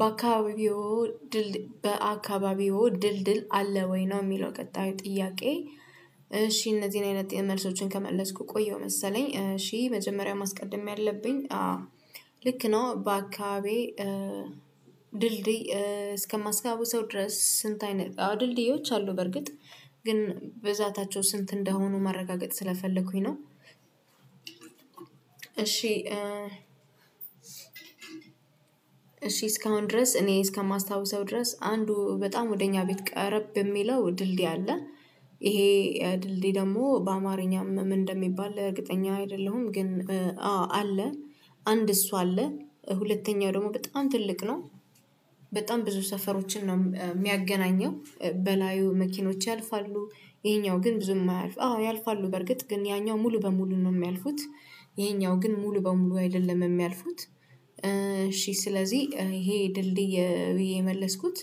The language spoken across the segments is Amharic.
በአካባቢዎ ድል በአካባቢዎ ድል ድል አለ ወይ ነው? የሚለው ቀጣዩ ጥያቄ እሺ እነዚህን አይነት መልሶችን ከመለስኩ ቆየሁ መሰለኝ እሺ መጀመሪያ ማስቀደም ያለብኝ አዎ ልክ ነው በአካባቢዬ ድልድይ እስከማስታውሰው ድረስ ስንት አይነት አው ድልድዮች አሉ በርግጥ ግን ብዛታቸው ስንት እንደሆኑ ማረጋገጥ ስለፈለኩኝ ነው። እሺ እስካሁን ድረስ እኔ እስከማስታውሰው ድረስ አንዱ በጣም ወደ እኛ ቤት ቀረብ የሚለው ድልድይ አለ ይሄ ድልድይ ደግሞ በአማርኛም ምን እንደሚባል እርግጠኛ አይደለሁም ግን አዎ አለ። አንድ እሱ አለ ሁለተኛው ደግሞ በጣም ትልቅ ነው። በጣም ብዙ ሰፈሮችን ነው የሚያገናኘው በላዩ መኪኖች ያልፋሉ ይሄኛው ግን ብዙም አያልፉም አዎ ያልፋሉ በርግጥ ግን ያኛው ሙሉ በሙሉ ነው የሚያልፉት ይሄኛው ግን ሙሉ በሙሉ አይደለም የሚያልፉት። እሺ ስለዚህ ይሄ ድልድይ ብዬ የመለስኩት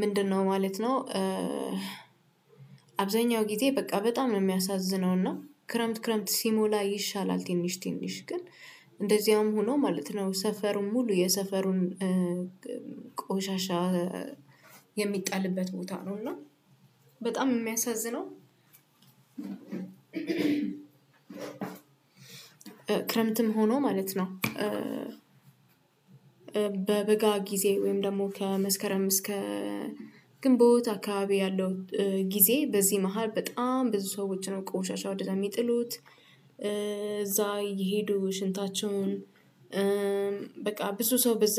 ምንድነው ማለት ነው? አብዛኛው ጊዜ በቃ በጣም ነው የሚያሳዝነው እና ክረምት ክረምት ሲሞላ ይሻላል። ትንሽ ትንሽ ግን እንደዚያውም ሆኖ ማለት ነው ሰፈሩን ሙሉ የሰፈሩን ቆሻሻ የሚጣልበት ቦታ ነው እና በጣም የሚያሳዝነው ክረምትም ሆኖ ማለት ነው። በበጋ ጊዜ ወይም ደግሞ ከመስከረም እስከ ግንቦት አካባቢ ያለው ጊዜ በዚህ መሃል በጣም ብዙ ሰዎች ነው ቆሻሻ ወደዛ የሚጥሉት እዛ እየሄዱ ሽንታቸውን በቃ ብዙ ሰው በዛ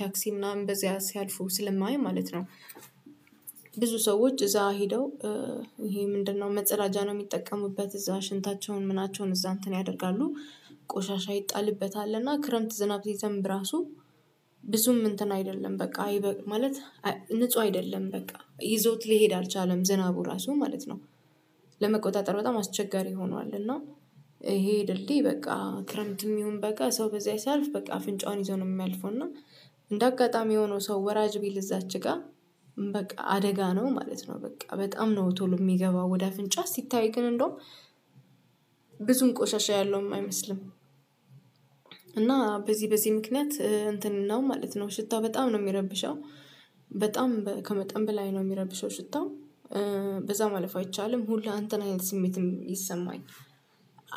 ታክሲ ምናምን በዚህ ሲያልፉ ስለማይ ማለት ነው። ብዙ ሰዎች እዛ ሄደው ይሄ ምንድነው መጸዳጃ ነው የሚጠቀሙበት እዛ ሽንታቸውን ምናቸውን እዛ እንትን ያደርጋሉ። ቆሻሻ ይጣልበታል እና ክረምት ዝናብ ሲዘንብ ራሱ ብዙም እንትን አይደለም በቃ ማለት ንጹህ አይደለም በቃ ይዞት ሊሄድ አልቻለም ዝናቡ ራሱ ማለት ነው። ለመቆጣጠር በጣም አስቸጋሪ ሆኗል እና ይሄ ድልድይ በቃ ክረምትም ይሁን በጋ ሰው በዚያ ሲያልፍ በቃ አፍንጫውን ይዞ ነው የሚያልፈው እና እንደ አጋጣሚ ሆኖ ሰው ወራጅ ቢል እዛች ጋር በቃ አደጋ ነው ማለት ነው በቃ በጣም ነው ቶሎ የሚገባው ወደ አፍንጫ ሲታይ ግን እንደውም ብዙም ቆሻሻ ያለውም አይመስልም። እና በዚህ በዚህ ምክንያት እንትን ነው ማለት ነው ሽታው በጣም ነው የሚረብሸው በጣም ከመጠን በላይ ነው የሚረብሸው ሽታው። በዛ ማለፍ አይቻልም ሁሉ እንተን አይነት ስሜትም ይሰማኛል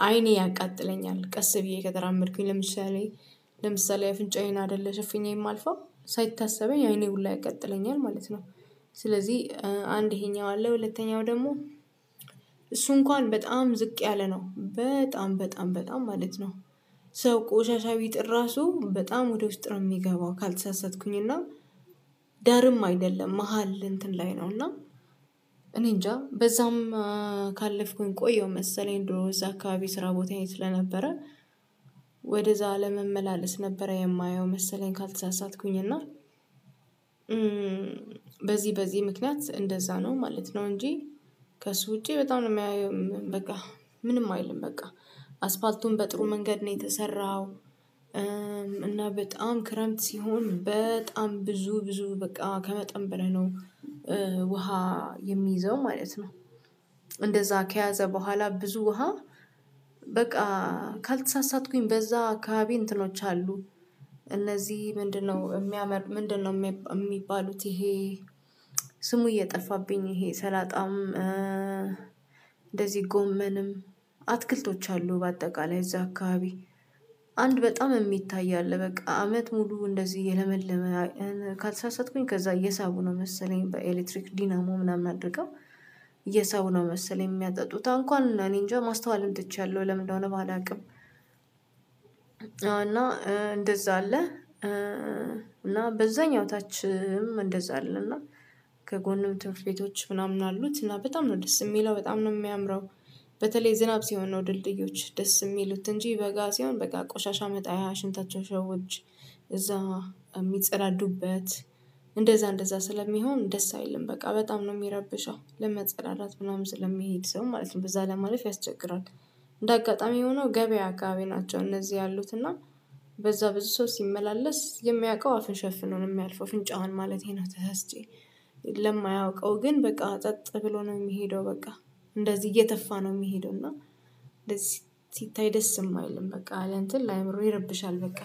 አይኔ ያቃጥለኛል ቀስ ብዬ ከተራመድኩኝ ለምሳሌ ለምሳሌ አፍንጫዬን አይደለ ሸፍኜ የማልፋው ሳይታሰበኝ አይኔ ሁላ ያቃጥለኛል ማለት ነው። ስለዚህ አንድ ይሄኛው አለ ሁለተኛው ደግሞ እሱ እንኳን በጣም ዝቅ ያለ ነው በጣም በጣም በጣም ማለት ነው። ሰው ቆሻሻ ቢጥል ራሱ በጣም ወደ ውስጥ ነው የሚገባው ካልተሳሰትኩኝ እና ዳርም አይደለም መሃል እንትን ላይ ነው እና እኔ እንጃ በዛም ካለፍኩኝ ቆየሁ መሰለኝ ድሮ እዛ አካባቢ ስራ ቦታዬ ስለነበረ ወደዛ ለመመላለስ ነበረ የማየው መሰለኝ ካልተሳሳትኩኝ እና በዚህ በዚህ ምክንያት እንደዛ ነው ማለት ነው እንጂ ከሱ ውጪ በጣም ነው የማየው በቃ ምንም አይልም በቃ አስፋልቱን በጥሩ መንገድ ነው የተሰራው። እና በጣም ክረምት ሲሆን በጣም ብዙ ብዙ በቃ ከመጠን በላይ ነው ውሃ የሚይዘው ማለት ነው። እንደዛ ከያዘ በኋላ ብዙ ውሃ በቃ ካልተሳሳትኩኝ በዛ አካባቢ እንትኖች አሉ። እነዚህ ምንድነው የሚያመር ምንድነው የሚባሉት ይሄ ስሙ እየጠፋብኝ ይሄ ሰላጣም እንደዚህ ጎመንም አትክልቶች አሉ። በአጠቃላይ እዛ አካባቢ አንድ በጣም የሚታይ አለ በቃ አመት ሙሉ እንደዚህ እየለመለመ ካልሳሳትኩኝ ከዛ እየሳቡ ነው መሰለኝ በኤሌክትሪክ ዲናሞ ምናምን አድርገው እየሳቡ ነው መሰለኝ የሚያጠጡት አሁን እንኳን እኔ እንጃ ማስተዋልም ትቻለሁ ለምን እንደሆነ አላውቅም? እና እንደዛ አለ እና በዛኛው ታችም እንደዛ አለ እና ከጎንም ትምህርት ቤቶች ምናምን አሉት እና በጣም ነው ደስ የሚለው በጣም ነው የሚያምረው። በተለይ ዝናብ ሲሆን ነው ድልድዮች ደስ የሚሉት እንጂ በጋ ሲሆን በቃ ቆሻሻ መጣያ ሽንታቸውን ሰዎች እዛ የሚጸዳዱበት እንደዛ እንደዛ ስለሚሆን ደስ አይልም በቃ በጣም ነው የሚረብሸው ለመጸዳዳት ምናምን ስለሚሄድ ሰው ማለት ነው በዛ ለማለፍ ያስቸግራል። እንደ አጋጣሚ ሆኖ ገበያ አካባቢ ናቸው እነዚህ ያሉት እና በዛ ብዙ ሰው ሲመላለስ የሚያውቀው አፉን ሸፍኖ ነው የሚያልፈው አፍንጫውን ማለቴ ነው ተሳስቼ ለማያውቀው ግን በቃ ጸጥ ብሎ ነው የሚሄደው በቃ እንደዚህ እየተፋ ነው የሚሄደው እና ሲታይ ደስም አይልም በቃ ለእንትን ላአይምሮ ይረብሻል በቃ።